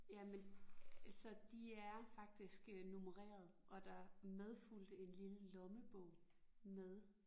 Jamen altså de er faktisk nummereret og der medfulgte en lille lommebog med